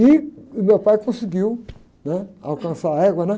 E o meu pai conseguiu, né? Alcançar a égua, né?